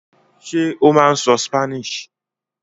Ṣé ó máa ń sọ Spanish?